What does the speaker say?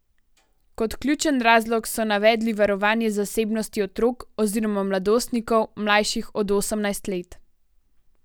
Kot ključen razlog so navedli varovanje zasebnosti otrok oziroma mladostnikov, mlajših od osemnajst let.